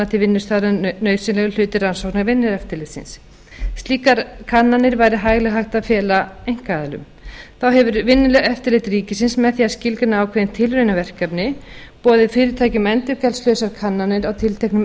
til vinnustaðarins nauðsynlegur hluti rannsókna vinnueftirlitsins slíkar kannanir væri hæglega hægt að fela einkaaðilum þá hefur vinnueftirlit ríkisins með því að skilgreina ákveðin tilraunaverkefni boðið fyrirtækjum endurgjaldslausar kannanir á tilteknum